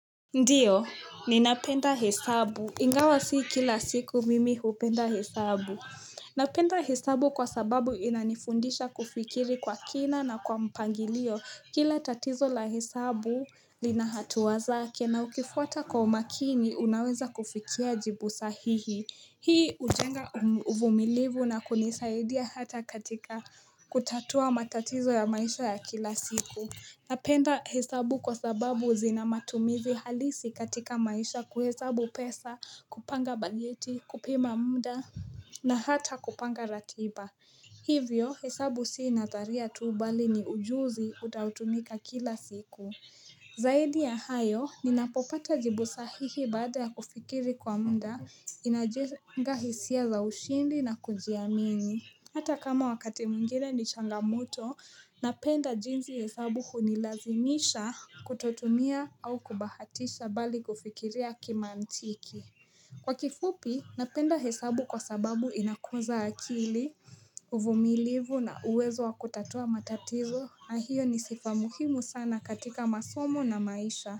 Ndiyo ninapenda hesabu ingawa si kila siku mimi hupenda hesabu Napenda hesabu kwa sababu inanifundisha kufikiri kwa kina na kwa mpangilio kila tatizo la hesabu lina hatuwa zake na ukifuata kwa umakini unaweza kufikia jibu sahihi Hii ujenga uvumilivu na kunisaidia hata katika kutatua matatizo ya maisha ya kila siku Napenda hesabu kwa sababu zina matumizi halisi katika maisha kuhesabu pesa, kupanga bajeti, kupima munda, na hata kupanga ratiba. Hivyo, hesabu si nadharia tu bali ni ujuzi utaotumika kila siku. Zaidi ya hayo, ninapopata jibu sahihi baada ya kufikiri kwa munda, inajenga hisia za ushindi na kujiamini. Hata kama wakati mwingine ni changamoto, napenda jinzi hesabu hunilazimisha kutotumia au kubahatisha bali kufikiria kimaantiki. Kwa kifupi, napenda hesabu kwa sababu inakuza akili, uvumilivu na uwezo wa kutatua matatizo, na hiyo ni sifa muhimu sana katika masomo na maisha.